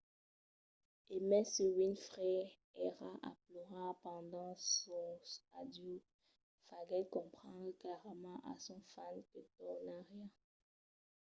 e mai se winfrey èra a plorar pendent sos adieus faguèt comprendre clarament a sos fans que tornariá